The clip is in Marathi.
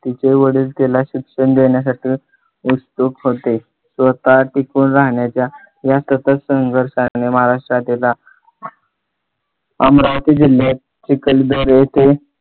तिचे वडील तिला शिक्षण देण्यासाठी उत्सुक होते. स्वतः टिकून राहण्याच्या त्या सतत संघर्षाने महाराष्ट्राचे दार अमरावती जिल्ह्यात चिखलदरा येथे